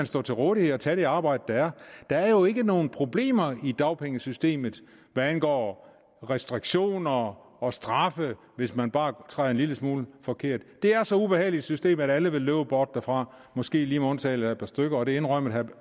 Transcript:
stå til rådighed og tage det arbejde der er der er jo ikke nogen problemer i dagpengesystemet hvad angår restriktioner og straffe hvis man bare træder en lille smule forkert det er så ubehageligt et system at alle vil løbe bort derfra måske lige med undtagelse af et par stykker og det indrømmede herre